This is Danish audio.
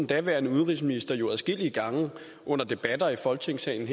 daværende udenrigsminister jo adskillige gange under debatter i folketingssalen